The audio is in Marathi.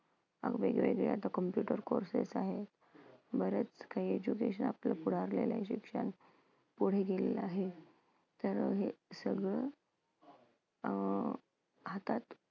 वेगवेगळे आता computer courses आहेत. बरेच काही education शिक्षण पुढे गेलेलं आहे. तर हे असं सगळं अं हातात